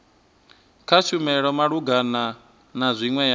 kushumele malugana na zwine ya